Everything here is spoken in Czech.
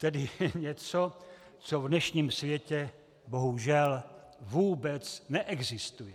Tedy něco, co v dnešním světě bohužel vůbec neexistuje.